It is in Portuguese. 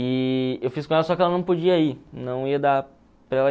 E eu fiz com ela, só que ela não podia ir, não ia dar para ela